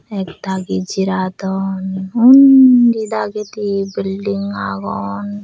ek dagi jiradon undi dagedi belding agon.